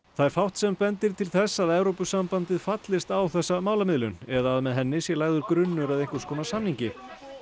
það er fátt sem bendir til þess að Evrópusambandið fallist á þessa málamiðlun eða að með henni sé lagður grunnur að einhvers konar samningi